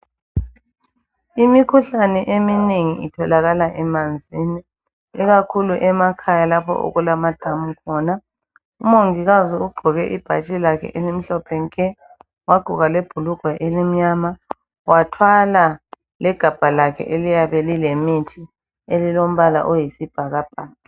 Imikhuhlane eminengi itholakala emanzini ikakhulu emakhaya lapho okulamadamu khona . Umongikazi ugqoke ibhatshi lakhe elimhlophe nke. Wagqoka lebhulugwa elimnyama. Wathwala legabha lakhe eliyabe lilemithi elilombala oyisibhakabhaka.